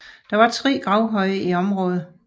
Der er tre gravhøje i området